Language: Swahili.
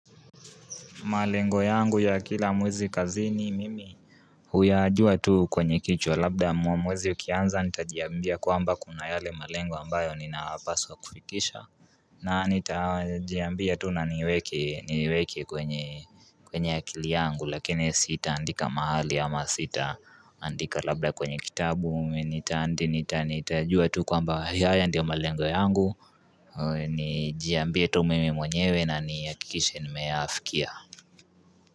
Malengo yangu ya kila muezi kazini mimi huyajua tu kwenye kichwa labda mwezi ukianza nitajiambia kwamba kuna yale malengo ambayo ninapaswa kufikisha na nitajiambia tu na niweke niweke kwenye kwenye akili yangu lakini sita andika mahali ama sita andika labda kwenye kitabu nitandi nitanitajua tu kwamba haya ndio malengo yangu nijiambie tu mimi mwenyewe na niyakikishe nimeafikia.